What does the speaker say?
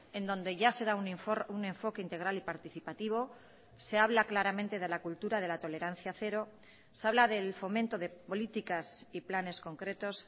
en donde ya se da un enfoque integral y participativo se habla claramente de la cultura de la tolerancia cero se habla del fomento de políticas y planes concretos